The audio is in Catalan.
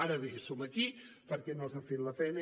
ara bé som aquí perquè no s’ha fet la feina